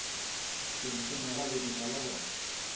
hlenghleng ga lebitla la go